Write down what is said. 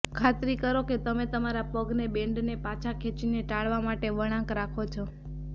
ખાતરી કરો કે તમે તમારા પગને બૅન્ડને પાછા ખેંચીને ટાળવા માટે વળાંક રાખો છો